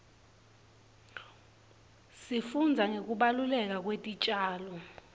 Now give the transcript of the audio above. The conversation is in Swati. sifundza ngekubaluleka kwetitjalo